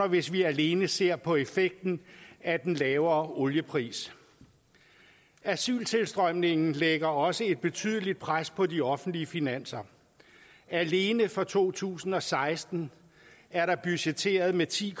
hvis vi alene ser på effekten af den lavere oliepris asyltilstrømningen lægger også et betydeligt pres på de offentlige finanser alene for to tusind og seksten er der budgetteret med ti